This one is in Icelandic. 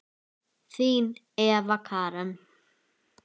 Þín Eva Karen.